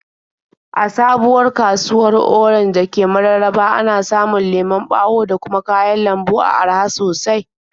A sabuwar kasuwar Orenj da ke Mararaba, ana samun lemon ɓawo da kuma kayan lambu a araha sosai.